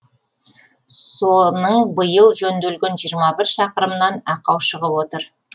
соның биыл жөнделген жиырма бір шақырымынан ақау шығып отыр